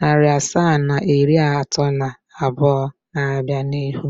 Narị asaa na iri atọ na abụọ na-abịa n'ihu